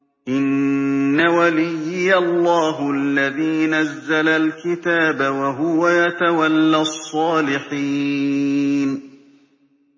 إِنَّ وَلِيِّيَ اللَّهُ الَّذِي نَزَّلَ الْكِتَابَ ۖ وَهُوَ يَتَوَلَّى الصَّالِحِينَ